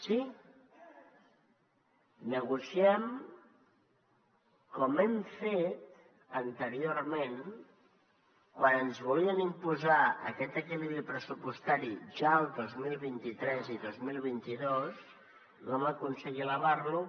sí negociem com ho hem fet anteriorment quan ens volien imposar aquest equilibri pressupostari ja el dos mil vint tres i dos mil vint dos i vam aconseguir elevar lo